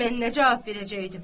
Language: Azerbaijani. Mən nə cavab verəcəkdim?